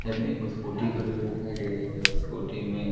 side में एक scooty खड़ी हुई दिखाई दे रही है जिस स्कूटी में--